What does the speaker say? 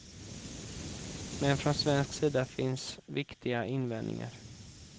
Men från svensk sida finns viktiga invändningar.